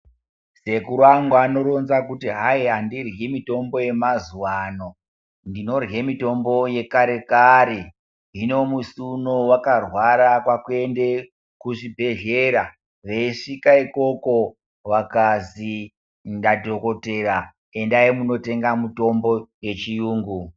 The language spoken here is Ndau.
Sekuru angu anoronze kuti hai andiryi mutombo yemazuwaano ndinorye mitombo yekare kare hino musi uno vakarwara kwaunde kuzvibhedhlera veisvika ikoko vakazi nadhokodhera endai mundotenga mitombo yechiyungu.